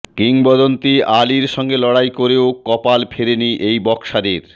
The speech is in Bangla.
কিংবদন্তি আলির সঙ্গে লড়াই করেও কপাল ফেরেনি এই বক্সারের